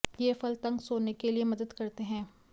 ये फल तंग सोने के लिए मदद करते हैं